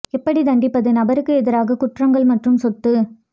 எப்படி தண்டிப்பது நபருக்கு எதிராக குற்றங்கள் மற்றும் சொத்து